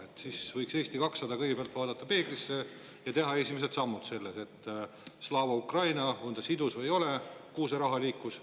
Eesti 200 võiks kõigepealt vaadata peeglisse ja teha esimesed sammud selleks, Slava Ukraini on sidus või ei ole ja kuhu see raha liikus.